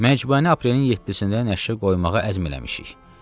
Məcmuani aprelin 7-də nəşrə qoymağa əzm eləmişik.